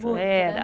Muito, né?